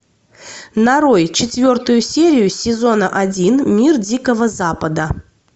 нарой четвертую серию сезона один мир дикого запада